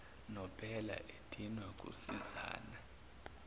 nobela edinwa kusizani